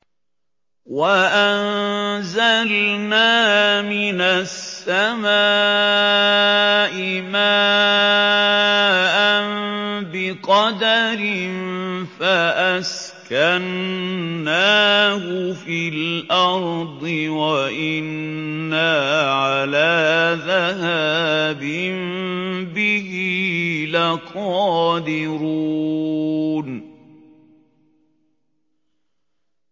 وَأَنزَلْنَا مِنَ السَّمَاءِ مَاءً بِقَدَرٍ فَأَسْكَنَّاهُ فِي الْأَرْضِ ۖ وَإِنَّا عَلَىٰ ذَهَابٍ بِهِ لَقَادِرُونَ